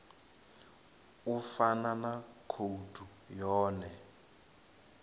u fana na khoudu yone